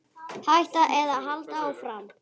Hætta eða halda áfram?